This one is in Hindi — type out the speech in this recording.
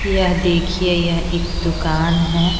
यह देखिए यह एक दुकान है।